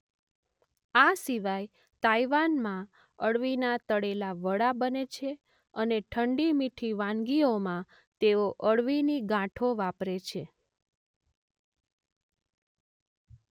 આ સિવાય તાઈવાનમાં અળવીના તળેલા વડા બને છે અને ઠંડી મીઠી વાનગીઓમાં તેઓ અળવીની ગાંઠો વાપરે છે.